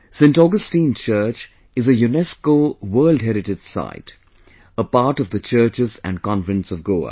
Saint Augustine Church is a UNESCO's World Heritage Site a part of the Churches and Convents of Goa